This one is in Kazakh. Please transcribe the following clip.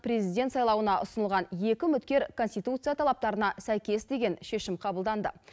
президент сайлауына ұсынылған екі үміткер конституция талаптарына сәйкес деген шешім қабылданды